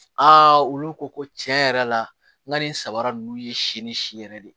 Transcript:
olu ko ko tiɲɛ yɛrɛ la n ka nin saba ninnu ye si ni si yɛrɛ de ye